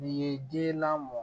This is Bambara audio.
Nin ye den lamɔ